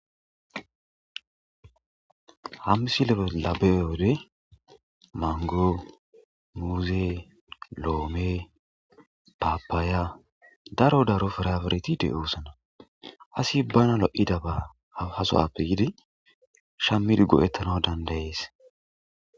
Ha missile bolla be'yyodde manggo, muzze, lomme, papaya daro daro pirapirithethi deo'ssonna. Assi bana loo'daba hagasuwappe yidi shamidi go'ethanawu dandae'ss.